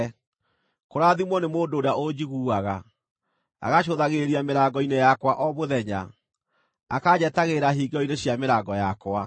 Kũrathimwo nĩ mũndũ ũrĩa ũnjiguaga, agacũthagĩrĩria mĩrango-inĩ yakwa o mũthenya, akanjetagĩrĩra hingĩro-inĩ cia mĩrango yakwa.